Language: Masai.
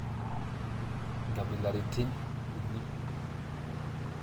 Nkabilaritin uni?